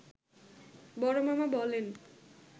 বড়মামা বলেন